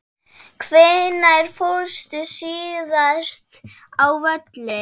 Hvenær fórstu síðast á völlinn?